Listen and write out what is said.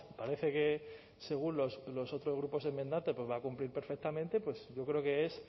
parece que según los otros grupos enmendantes va a cumplir perfectamente pues yo creo que es